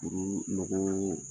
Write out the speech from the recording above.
nɔgɔyalen.